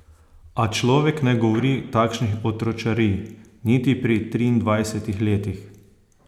A človek ne govori takšnih otročarij, niti pri triindvajsetih letih.